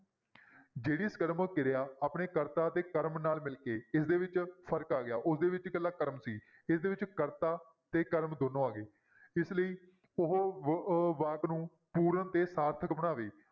ਜਿਹੜੀ ਸਾਕਰਮਕ ਕਿਰਿਆ ਆਪਣੇ ਕਰਤਾ ਅਤੇ ਕਰਮ ਨਾਲ ਮਿਲ ਕੇ ਇਸਦੇ ਵਿੱਚ ਫ਼ਰਕ ਆ ਗਿਆ, ਉਸਦੇ ਵਿੱਚ ਇਕੱਲਾ ਕਰਮ ਸੀ ਇਸਦੇ ਵਿੱਚ ਕਰਤਾ ਤੇ ਕਰਮ ਦੋਨੋਂ ਆ ਗਏ, ਇਸ ਲਈ ਉਹ ਵ~ ਅਹ ਵਾਕ ਨੂੰ ਪੂਰਨ ਤੇ ਸਾਰਥਕ ਬਣਾਵੇ